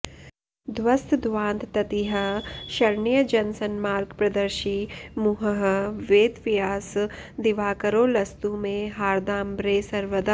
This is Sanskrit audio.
ध्वस्तध्वान्तततिः शरण्य जनसन्मार्गप्रदर्शी मुहुः वेदव्यास दिवाकरो लसतु मे हार्दाम्बरे सर्वदा